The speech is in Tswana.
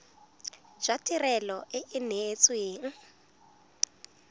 jwa tirelo e e neetsweng